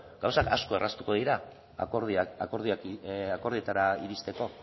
gauzak asko erraztuko dira akordioetara iristeko